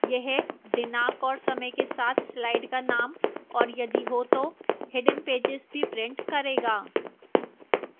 यह दिनांक और समय के साथ slide का name और यदि हो तो hidden pages भी print करेगा